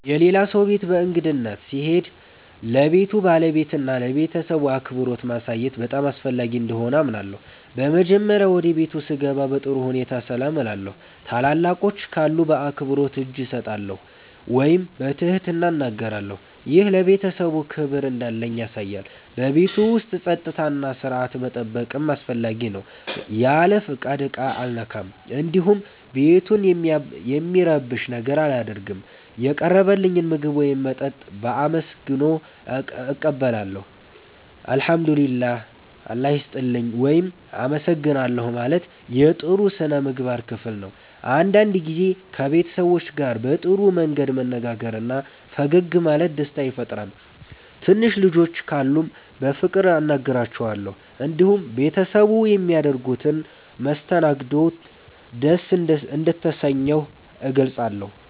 የሌላ ሰው ቤት በእንግድነት ስሄድ ለቤቱ ባለቤትና ለቤተሰቡ አክብሮት ማሳየት በጣም አስፈላጊ እንደሆነ አምናለሁ። በመጀመሪያ ወደ ቤቱ ስገባ በጥሩ ሁኔታ ሰላም እላለሁ። ታላላቆች ካሉ በአክብሮት እጅ እሰማለሁ ወይም በትህትና እናገራለሁ። ይህ ለቤተሰቡ ክብር እንዳለኝ ያሳያል። በቤቱ ውስጥ ጸጥታና ሥርዓት መጠበቅም አስፈላጊ ነው። ያለ ፍቃድ ዕቃ አልነካም፣ እንዲሁም ቤቱን የሚረብሽ ነገር አላደርግም። የቀረበልኝን ምግብ ወይም መጠጥ በአመስግኖ እቀበላለሁ። “እግዚአብሔር ይስጥልኝ” ወይም “አመሰግናለሁ” ማለት የጥሩ ሥነ ምግባር ክፍል ነው። አንዳንድ ጊዜ ከቤት ሰዎች ጋር በጥሩ መንገድ መነጋገርና ፈገግ ማለት ደስታ ይፈጥራል። ትንሽ ልጆች ካሉም በፍቅር አናግራቸዋለሁ። እንዲሁም ቤተሰቡ በሚያደርጉት መስተንግዶ ደስ እንደተሰኘሁ እገልጻለሁ።